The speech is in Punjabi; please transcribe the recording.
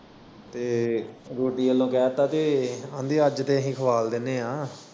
ਤੇ ਰੋਟੀ ਅੱਲੋ ਕਹਿਤਾ ਤੇ ਆਂਦੀ ਅੱਜ ਤੇ ਅਸੀ ਖਵਾਲ ਦਿੰਦੇ ਆ।